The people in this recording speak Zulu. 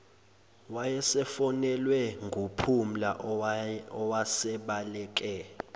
wayesefonelwe nguphumla owasebaleke